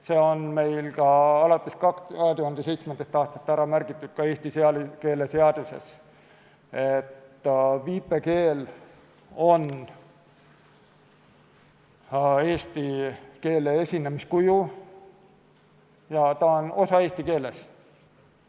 See on ka alates 2007. aastast ära märgitud Eesti keeleseaduses, et viipekeel on eesti keele esinemiskuju ja ta on osa eesti keelest.